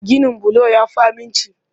Ginin bulo ya fi aminci.